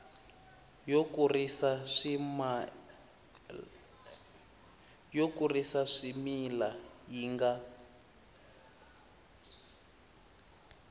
yo kurisa swimila yi nga